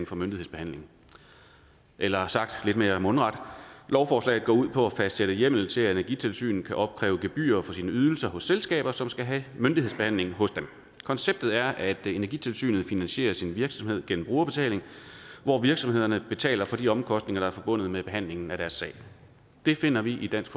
for myndighedsbehandling eller sagt lidt mere mundret lovforslaget går ud på at fastsætte hjemmel til at energitilsynet kan opkræve gebyrer for sine ydelser hos selskaber som skal have myndighedsbehandling hos dem konceptet er at energitilsynet finansierer sin virksomhed gennem brugerbetaling hvor virksomhederne betaler for de omkostninger der er forbundet med behandlingen af deres sag det finder vi i dansk